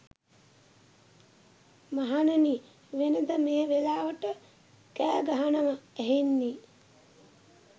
මහණෙනි, වෙනද මේ වෙලාවට කෑගහනව ඇහෙන්නේ